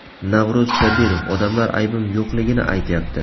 Navro‘z Sobirov: Odamlar aybim yo‘qligini aytyapti.